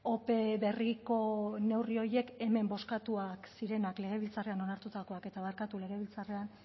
ope berriko neurri horiek hemen bozkatuak zirenak legebiltzarrean onartutakoak eta barkatu legebiltzarrean